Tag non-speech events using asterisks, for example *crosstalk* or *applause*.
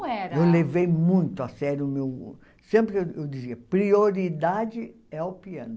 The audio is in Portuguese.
*unintelligible* Eu levei muito a sério o meu... Sempre eu dizia, prioridade é o piano.